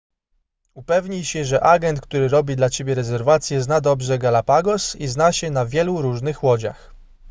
upewnij się że agent który robi dla ciebie rezerwację zna dobrze galapagos i zna się na wielu różnych łodziach